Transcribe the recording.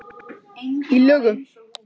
Í lögum